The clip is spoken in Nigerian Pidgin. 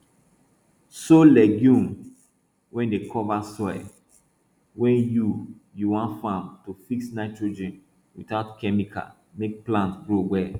sow legume wey dey cover soil wey you you wan farm to fix nitrogen without chemical make plants grow well